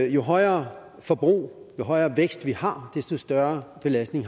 jo højere forbrug jo højere vækst vi har desto større belastning